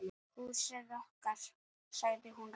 Húsið okkar.- sagði hún rám.